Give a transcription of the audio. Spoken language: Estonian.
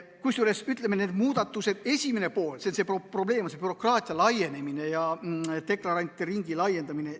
Kusjuures, ütleme, nende muudatuste esimene probleem on bürokraatia laienemine ja deklarantide ringi laiendamine.